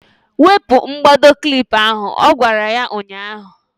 Wepu mkpado klip ahụ! Ọ gwara ya ụnyaahụ.